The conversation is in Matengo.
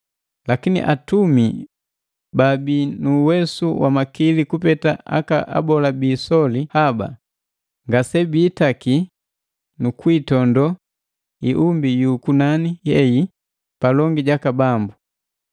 Lakini atumi baabii nu uwesu na makili kupeta aka abola bi isoli haba, ngase biitaki nu kwiitondoo iumbi yu kunani hei palongi jaka Bambu.